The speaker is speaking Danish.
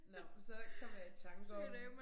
Nåh men så kommer jeg i tanker om